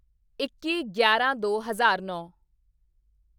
ਇੱਕੀਗਿਆਰਾਂਦੋ ਹਜ਼ਾਰ ਨੌਂ